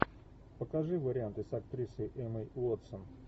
покажи варианты с актрисой эммой уотсон